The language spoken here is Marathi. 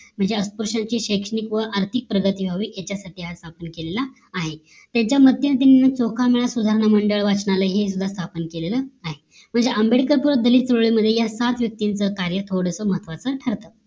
म्हणजे अस्पृश्याची शैक्षिणक व आर्थिक प्रगती व्हावी याच्यासाठी हा स्थापन केलेलं आहे त्यांच्यामध्यन्तर त्यांनी चोखामेळा सुधारणा मंडळ वाचनालय हे सुदा स्थापन केलेलं आहे म्हणजे आंबेडकर व दलित समाजामध्ये या सात व्यक्तींचा कार्य थोडासा महत्वाचं ठरते